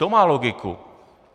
To má logiku.